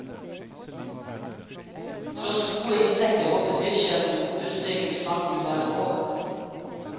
Tross gode inntekter håper driftssjefen busstreiken snart vil være over.